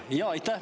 Jaa, aitäh!